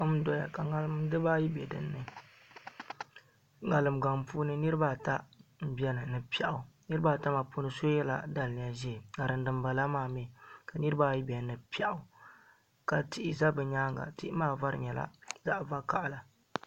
Kom n doya ka ŋarim dibaayi bɛ dinni ŋarim gaŋ puuni niraba ata n biɛni ni piɛɣu niraba ata maa puuni so yɛla daliya ʒiɛ ka dinbala maa mii ka niraba ayi bɛ dinni ni piɛɣu ka tihi bɛ nimaani tihi maa vari nyɛla zaɣ vakaɣala